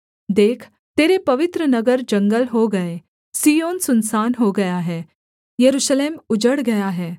देख तेरे पवित्र नगर जंगल हो गए सिय्योन सुनसान हो गया है यरूशलेम उजड़ गया है